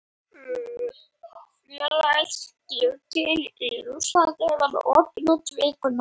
Félagaskiptaglugginn í Rússlandi verður opinn út vikuna.